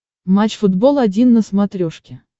матч футбол один на смотрешке